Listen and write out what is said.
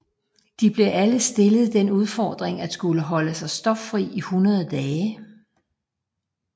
De blev alle stillet den udfordring at skulle holde sig stoffri i 100 dage